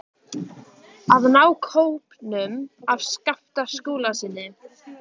AÐ NÁ KÓPNUM AF SKAPTA SKÚLASYNI.